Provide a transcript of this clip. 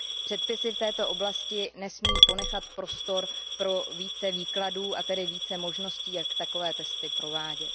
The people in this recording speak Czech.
Předpisy v této oblasti nesmí ponechat prostor pro více výkladů a tedy více možností, jak takové testy provádět.